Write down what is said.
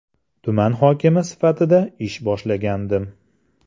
Tuman hokimi sifatida ish boshlagandim.